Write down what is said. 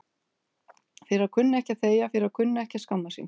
Fyrir að kunna ekki að þegja, fyrir að kunna ekki að skammast sín.